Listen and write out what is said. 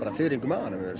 fiðring í maganum yfir